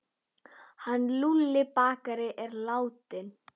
Hann Lúlli bakari er látinn.